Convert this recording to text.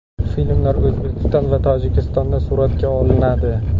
Filmlar O‘zbekiston va Tojikistonda suratga olinadi.